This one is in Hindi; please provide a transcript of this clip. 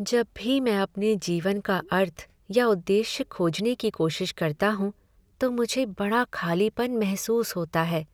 जब भी मैं अपने जीवन का अर्थ या उद्देश्य खोजने की कोशिश करता हूँ तो मुझे बड़ा खालीपन महसूस होता है